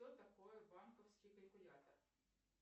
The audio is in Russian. что такое банковский калькулятор